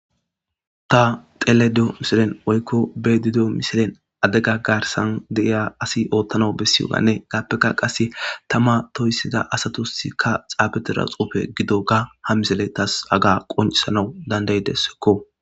ta xelayda diyo misilen woykko be7ayda diyo misilen ade ga garsan deiya asi oottana bessiyoganne gaappeka qase tama toyssida asatosikka xaabete raxoofe gido ga ha misile tas aga qoncisanau dandaydessekko